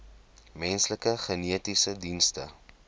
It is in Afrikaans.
menslike genetiese dienste